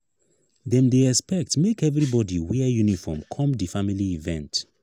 dem dey expect make everybodi wear uniform come di family event.